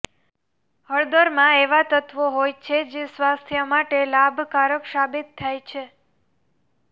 હળદરમાં એવા તત્વો હોય છે જે સ્વાસથ્ય માટે લાભકારક સાબિત થાય છે